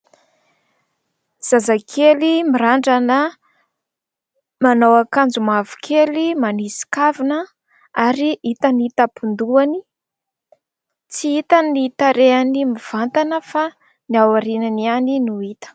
Zazakely mirandrana, manao akanjo mavokely, manisy kavina ary hita ny tampon-dohany. Tsy hita ny tarehiny mivantana fa ny ao aorinany ihany no hita.